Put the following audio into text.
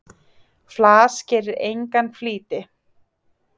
Flas gerir engan flýti.